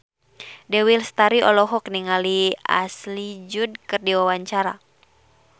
Dewi Lestari olohok ningali Ashley Judd keur diwawancara